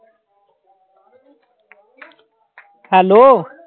Hello